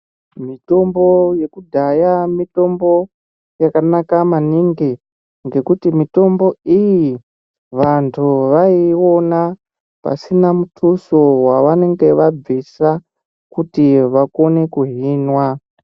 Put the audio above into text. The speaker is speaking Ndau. Mitombo yekudhaya mitombo yakanaka maningi ngekuti mitombo iyi vandu vaiiona mutuso wavanenge vabvisa kuti vakone kuhinwa.